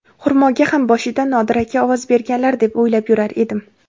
Xurmoga ham boshida Nodir aka ovoz berganlar deb o‘ylab yurar edim.